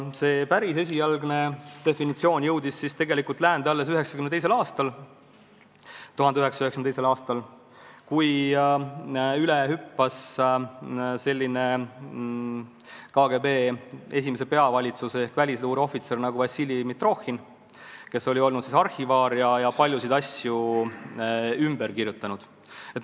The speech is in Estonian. See päris esialgne definitsioon jõudis tegelikult läände alles 1992. aastal, kui üle hüppas KGB esimese peavalitsuse ehk välisluure ohvitser Vassili Mitrohhin, kes oli olnud arhivaar ja paljusid asju ümber kirjutanud.